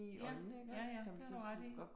Ja, ja ja, det har du ret i